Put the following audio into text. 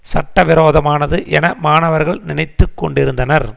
சட்டவிரோதமானது என மாணவர்கள் நினைத்து கொண்டிருந்தனர்